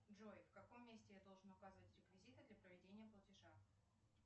джой в каком месте я должна указывать реквизиты для проведения платежа